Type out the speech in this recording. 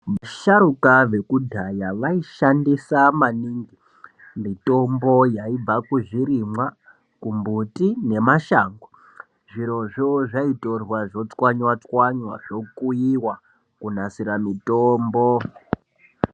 Vasharukwa vekudhaya vaishandisa maningi mitombo yaibva kumbuti zvirimwa nemashango zvirozvo zvaitorwa zvotswanywa tswanywa zvokuyiwa kunasira mitombo.